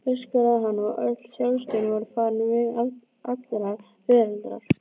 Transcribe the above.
öskraði hann, og öll sjálfstjórn var farin veg allrar veraldar.